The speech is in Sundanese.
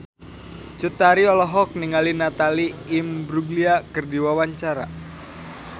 Cut Tari olohok ningali Natalie Imbruglia keur diwawancara